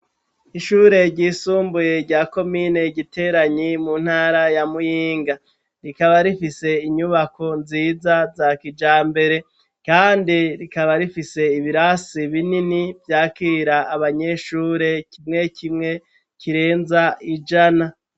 Ishure ryisumbuye rya komine igiteranyi, mu ntara ya muyinga ,rikaba rifise inyubako nziza za kijambere, kandi rikaba rifise ibirasi binini vyakira abanyeshure ,kimwe kimwe kirenza ijana.